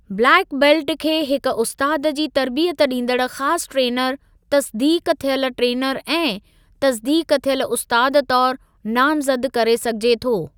Black belt खे हिक उस्तादु जी तर्बियत ॾींदड़ ख़ासि ट्रेनर, तसिदीक़ थियल ट्रेनर ऐं तसिदीक़ थियल उस्तादु तौर नामज़द करे सघिजे थो।